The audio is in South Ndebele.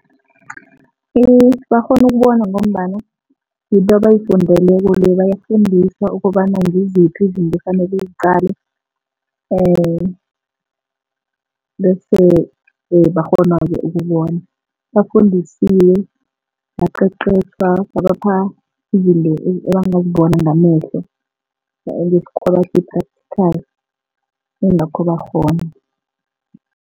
Iye, bakghona ukubona ngombana ngibo abayifundeleko le, bayafundiswa ukobana ngiziphi izinto ekufanele uziqale. Bese bakghonake ukubona, bafundisiwe babaqeqetjhwa babapha izinto ebangazibona ngamehlo, ngesikhuwa bathi yi-practical ingakho bakghona.